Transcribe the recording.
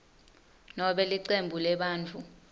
nobe licembu lebantfu